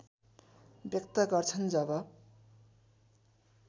व्यक्त गर्छन् जब